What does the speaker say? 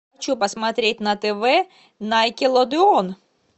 что посмотреть на тв найкелодеон